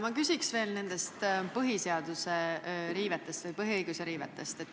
Ma küsin veel nende põhiseaduse riivete või põhiõiguste riivete kohta.